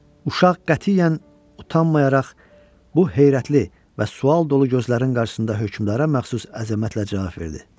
Uşaq qətiyyən utanmayaraq bu heyrətli və sual dolu gözlərin qarşısında hökmdara məxsus əzəmətlə cavab verdi.